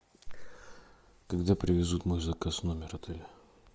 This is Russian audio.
когда привезут мой заказ в номер отеля